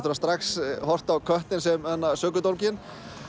strax horft á köttinn sem sökudólginn